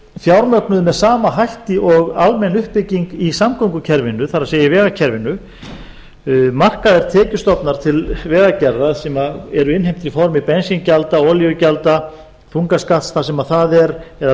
fjármögnuð sem sama hætti og almenn uppbygging í samgöngukerfinu það er í vegakerfinu markaðir tekjustofnar til vegagerðar sem eru innheimtir í formi bensíngjalda olíugjalda þungaskatta þar sem það er eða